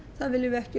viljum við ekki